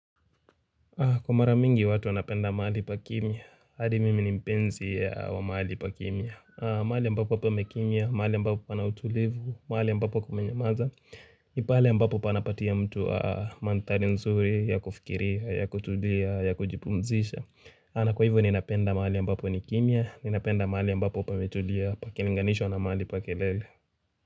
Kwa mara mingi watu wanapenda mahali pa kimia, hadi mimi ni mpenzi wa mahali pa kimia. Mahali ambapo pamekimia, mahali ambapo pana utulivu, mahali ambapo kumenyamaza. Pale ambapo panapatia mtu mandhari nzuri ya kufikiria, ya kutulia, ya kujipumzisha. Maana kwa hivyo ninapenda mahali ambapo nikimia, ninapenda mahali ambapo pametulia, pakilinganishwa na mahali pa kelele.